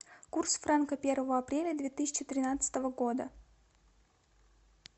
курс франка первого апреля две тысячи тринадцатого года